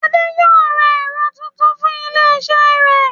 Adé yóò ra ẹ̀rọ tuntun fún ilé iṣẹ́ rẹ̀